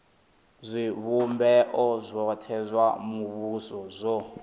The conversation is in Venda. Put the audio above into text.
zwivhumbeo zwothe zwa muvhuso zwi